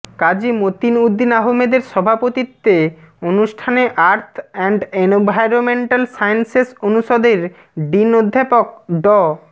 কাজী মতিন উদ্দিন আহমেদের সভাপতিত্বে অনুষ্ঠানে আর্থ এন্ড এনভায়রনমেন্টাল সায়েন্সেস অনুষদের ডিন অধ্যাপক ড